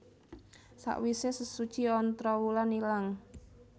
Sawise sesuci Ontrowulan ilang